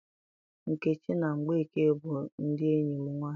Nkechi na Mgbeke bụ ndị enyi m nwaanyị.